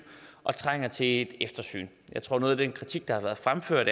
og trænger til et eftersyn jeg tror at noget af den kritik der har været fremført